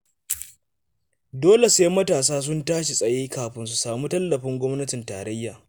Dole sai matasa sun tashi tsaye kafin su samu tallafin gwamnatin tarayya.